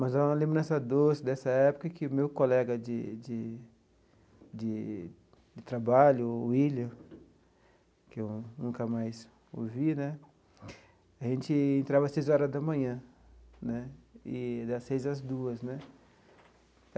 Mas há uma lembrança doce dessa época que o meu colega de de de trabalho, o Willian, que eu nunca mais o vi né, a gente entrava às seis horas da manhã né, e das seis às duas né.